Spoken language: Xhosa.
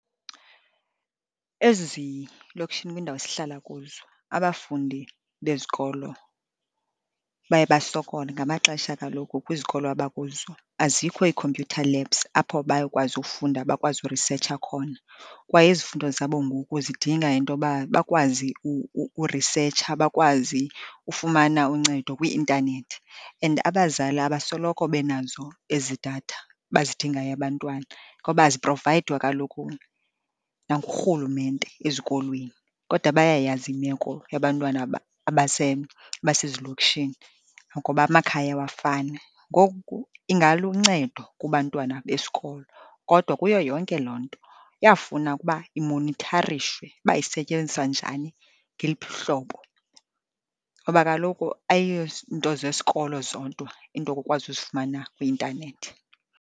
Ezilokishini kwiindawo esihlala kuzo abafundi bezikolo baye basokole. Ngamaxesha kaloku kwizikolo abakuzo azikho ii-computer labs apho bayokwazi ufunda bakwazi urisetsha khona. Kwaye izifundo zabo ngoku zidinga intoba bakwazi urisetsha, bakwazi ufumana uncedo kwii-intanethi. And abazali abasoloko benazo ezi datha bazidingayo abantwana, ngoba aziprovayidwa kaloku nangurhulumente ezikolweni, kodwa bayayazi imeko yabantwana abasezilokishini, ngoba amakhaya awafani. Ngoku ingaluncedo kubantwana besikolo, kodwa kuyo yonke loo nto iyafuna ukuba imonitharishwe uba isetyenziswa njani, ngeliphi uhlobo, ngoba kaloku ayiyonto zesikolo zodwa into okukwazi uzifumana kwi-intanethi.